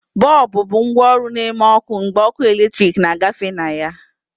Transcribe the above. Bọlbụ bụ ngwaọrụ na-eme ọkụ mgbe ọkụ eletrik na-agafe na ya.